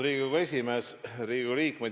Riigikogu liikmed!